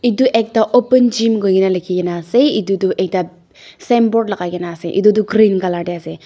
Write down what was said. edu ekta open gym koikae na likhinkae na ase edu ekta signboard lakai kaena ase edu tu green colour tae ase.